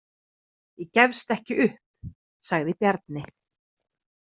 Ég gefst ekki upp, sagði Bjarni.